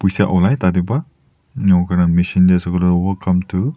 machine tae ase koilae tu welcome to.